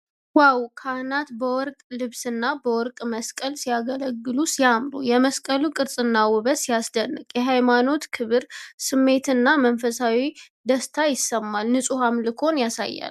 ዋው! ካህናት በወርቅ ልብስና በወርቅ መስቀል ሲያገለግሉ ሲያምሩ! የመስቀሉ ቅርጽና ውበት ሲያስደንቅ! የሃይማኖታዊ ክብር ስሜትና መንፈሳዊ ደስታ ይሰማል። ንጹህ አምልኮን ያሳያል።